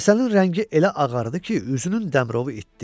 Həsənin rəngi elə ağardı ki, üzünün dəmrovu itdə.